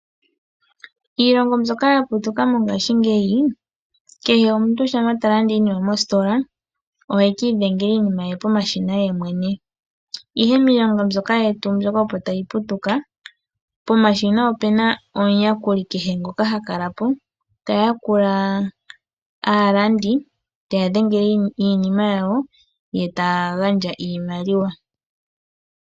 Iilongo mbyoka ya putuka mongashingeyi kehe omuntu shampa ta landa iinima mositola oheki idhengela iinima ye pomashina yemwene. Ihe miilongo yetu mbyoka opo tayi putuka, pomashina opu na omuyakuli ngoka ha kala po, ta yakula aalandi te ya dhengele iinima yawo, yo taa gandja iimaliwa.